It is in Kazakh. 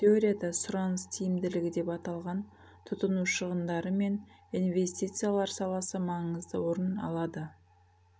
теорияда сұраныс тимділігі деп аталған тұтыну шығындары мен инвестициялар саласы маңызды орын алады